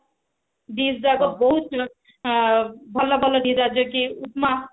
dish ଯାକ ବହୁତ ଭଲ ଭଲ ଯୋଉଟା କି ଉପମା